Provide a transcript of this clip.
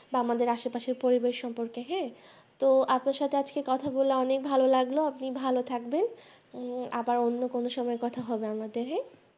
বা আমাদের আশেপাশে পরিবেশ সম্পর্কেহ্যাঁ তো আপনার সাথে আজকে কথা বলে অনেক ভালো লাগলো আপনি ভালো থাকবেন আবার অন্য কোন সময় কথা হবে আমাদের হ্যাঁ